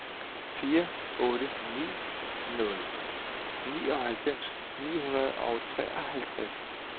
fire otte ni nul nioghalvfems ni hundrede og treoghalvtreds